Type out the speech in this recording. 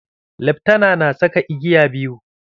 Leftana na saka igiya biyu.